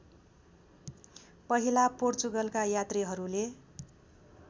पहिला पोर्चुगलका यात्रीहरूले